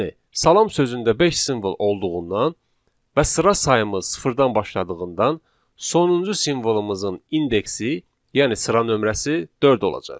Yəni salam sözündə beş simvol olduğundan və sıra sayımız sıfırdan başladığından sonuncu simvolumuzun indeksi, yəni sıra nömrəsi dörd olacaq.